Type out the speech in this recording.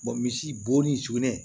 misi bo ni sugunɛ